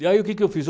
E aí o que eu fiz?